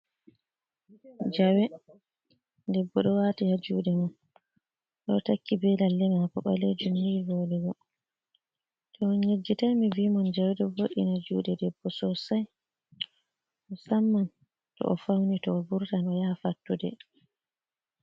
Jawe debbo ɗo waati haa juuɗe mum, o ɗo takki be lalle maako ɓaleejum ni vooɗugo, to on yejjitai mi vii mon jawe vo'ina juuɗe debbo sosai musamman to o fauni, to o vurtan o yaha fattude.